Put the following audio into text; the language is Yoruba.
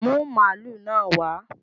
Bring the cow here!